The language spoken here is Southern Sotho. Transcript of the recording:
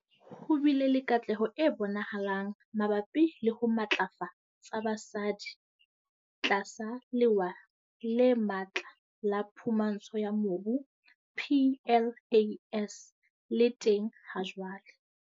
Ho bile le katleho e bonahalang mabapi le ho matlafatsa basadi tlasa Lewa le Matla la Phumantsho ya Mobu PLAS le teng hajwale.